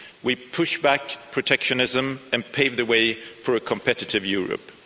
We push back protectionism and pave the way for a competitive Europe.